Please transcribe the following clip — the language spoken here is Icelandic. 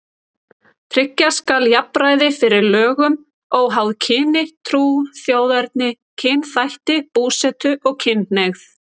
Tryggja skal jafnræði fyrir lögum óháð kyni, trú, þjóðerni, kynþætti, búsetu og kynhneigð.